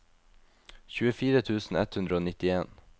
tjuefire tusen ett hundre og nittien